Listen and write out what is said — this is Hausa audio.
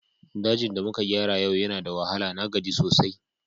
Dajin da muka gyara yau yana da wahala, na gaji sosai.